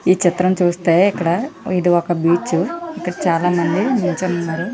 ఈ చిత్రం చూస్తే ఇక్కడ ఇది ఒక బీచ్ ఇక్కడ చాలామంది నిల్చోని ఉన్నారు.